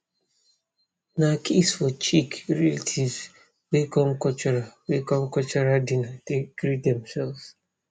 na kiss for cheeck relatives wey come cultural wey come cultural dinner take greet demselves